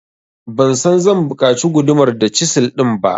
Ban san zan buƙaci gudumar da cisil din ba.